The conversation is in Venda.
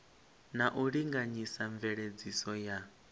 na u linganyisa mveledziso ya